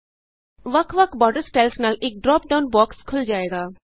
ਵੱਖ ਵੱਖ border styles ਨਾਲ ਇਕ ਡਰਾਪ ਡਾਉਨ ਬੋਕਸ ਖੁੱਲ੍ ਜਾਏਗਾ